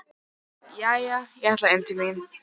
Jæja, ég ætla inn til mín.